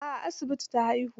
A'a a asibiti ta haihu.